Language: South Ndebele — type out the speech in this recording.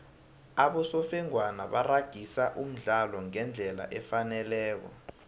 abosofengwana baragisa umdlalo ngendlela efaneleko